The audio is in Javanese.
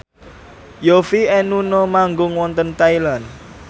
Yovie and Nuno manggung wonten Thailand